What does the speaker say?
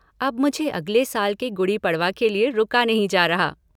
अब मुझसे अगले साल के गुडी पड़वा के लिये रुका नहीं जा रहा।